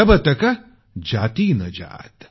जब तक जाती ना जात